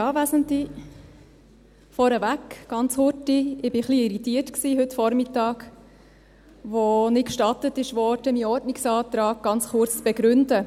Vorneweg, ganz kurz: Ich war heute Vormittag etwas irritiert, als nicht gestattet wurde, meinen Ordnungsantrag ganz kurz zu begründen.